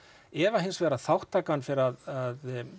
ef að hins vegar þátttakan fer að